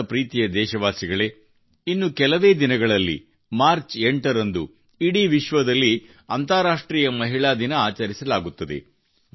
ನನ್ನ ಪ್ರೀತಿಯ ದೇಶವಾಸಿಗಳೇ ಇನ್ನು ಕೆಲವೇ ದಿನಗಳಲ್ಲಿ ಮಾರ್ಚ್ 8 ರಂದು ಇಡೀ ವಿಶ್ವದಲ್ಲಿ ಅಂತಾರಾಷ್ಟ್ರೀಯ ಮಹಿಳಾ ದಿನ ಆಚರಿಸಲಾಗುತ್ತದೆ